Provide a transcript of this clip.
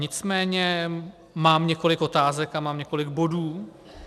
Nicméně mám několik otázek a mám několik bodů.